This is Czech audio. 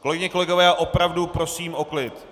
Kolegyně, kolegové, já opravdu prosím o klid.